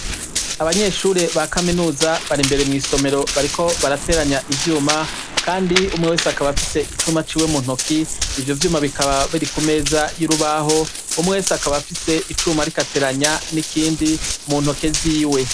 Abanyeshure ba kaminuza bari mw' isomero bariko barateranya ivyuma, kandi umwe wese akaba afise icumba ciwe mu ntoki, ivyo vyuma bikaba biri ku meza y' urubaho, umwe wese akaba afise icuma ariko ateranya n' ikindi mu ntoke ziwe.